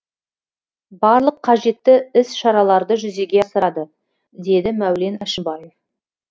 барлық қажетті іс шараларды жүзеге асырады деді мәулен әшімбаев